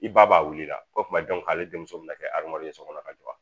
I ba b'a wuli i la o tuma ale denmuso min na kɛ ye so kɔnɔ ka jɔ